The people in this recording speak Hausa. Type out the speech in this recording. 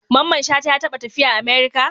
Mamman shata ya taba tafiya America?